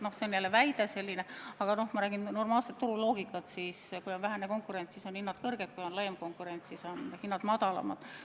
Noh, see on muidugi jälle väide, aga ma räägin normaalsest turuloogikast: kui on vähene konkurents, siis on hinnad kõrged, kui on suurem konkurents, siis on hinnad madalamad.